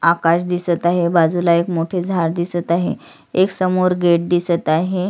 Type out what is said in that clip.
आकाश दिसत आहे बाजूला एक मोठे झाड दिसत आहे एक समोर गेट दिसत आहे.